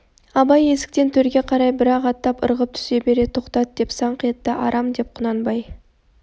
абай есіктен төрге қарай бір-ақ аттап ырғып түсе бере тоқтат деп саңқ етті арам деп құнанбай